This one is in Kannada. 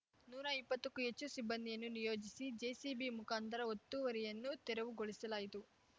ನೂರಾ ಇಪ್ಪತ್ತಕ್ಕೂ ಹೆಚ್ಚು ಸಿಬ್ಬಂದಿಯನ್ನು ನಿಯೋಜಿಸಿ ಜೆಸಿಬಿ ಮುಖಾಂತರ ಒತ್ತುವರಿಯನ್ನು ತೆರವುಗೊಳಿಸಲಾಯಿತು